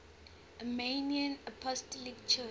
armenian apostolic church